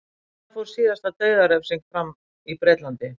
Hvenær fór síðasta dauðarefsing fram í Bretlandi?